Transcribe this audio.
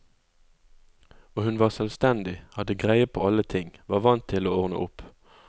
Og hun var selvstendig, hadde greie på alle ting, var vant til å ordne opp.